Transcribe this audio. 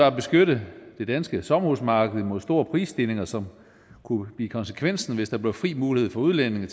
at beskytte det danske sommerhusmarked imod store prisstigninger som kunne blive konsekvensen hvis der blev fri mulighed for udlændinge